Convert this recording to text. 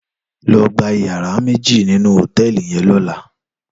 Lò gbá iyàrá méji ninú hótèlí yèn